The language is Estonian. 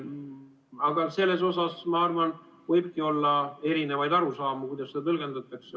Aga selles, ma arvan, võibki olla erinevaid arusaamu, kuidas seda tõlgendatakse.